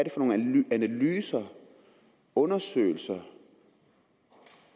nogle analyser undersøgelser